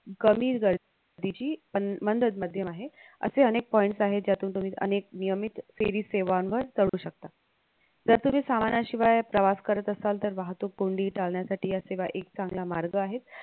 कमी गर्दीची पण आहे असे अनेक points आहे ज्यातून तुम्ही अनेक नियमित सेवी सेवांवर जाऊ शकता जर तुम्ही सामानाशिवाय प्रवास करत असाल तर वाहतूक कोंडी टाळण्यासाठी असेवा एकी चांगला मार्ग आहे